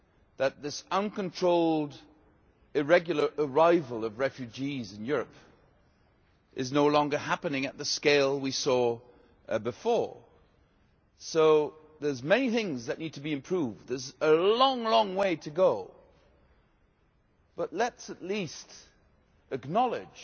that this uncontrolled irregular arrival of refugees in Europe is no longer happening on the scale we saw before, so there are many things that need to be improved, and there is a long way to go, but let us at least acknowledge